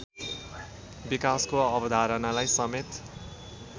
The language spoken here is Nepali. विकासको अवधारणालाई समेत